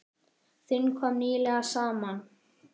Þing kom nýlega saman.